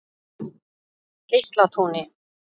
Geislatúni